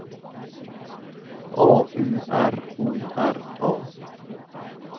A U R O R A